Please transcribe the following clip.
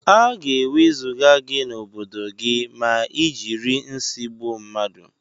Aga ewezuga gi na obodo gi ma ijiri nsi gbụọ mmadu.